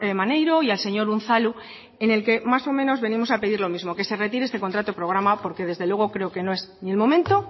maneiro y al señor unzalu en el que más o menos venimos a pedir lo mismo que se retire este contrato programa porque desde luego creo que no es ni el momento